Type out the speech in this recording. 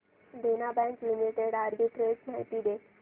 देना bank limited arbitrage माहिती दे